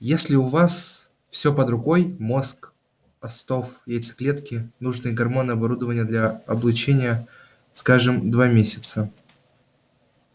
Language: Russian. если у вас всё под рукой мозг остов яйцеклетки нужные гормоны оборудование для облучения скажем два месяца